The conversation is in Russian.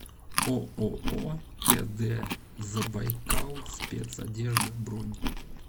ооо тд забайкалспецодежда бронь